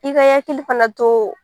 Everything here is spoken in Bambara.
I ka i hakili fana to